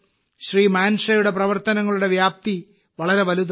മാൻഷയുടെ പ്രവർത്തനങ്ങളുടെ വ്യാപ്തി വളരെ വലുതാണ്